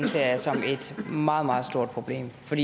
ser jeg som et meget meget stort problem for